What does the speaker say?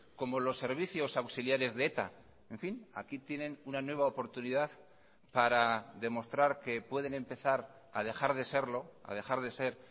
como los servicios auxiliares de eta en fin aquí tienen una nueva oportunidad para demostrar que pueden empezar a dejar de serlo a dejar de ser